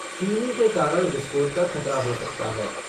चीनी के कारण विस्फोट का ख़तरा हो सकता है